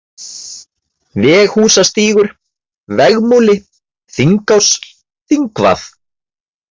Veghúsastígur, Vegmúli, Þingás, Þingvað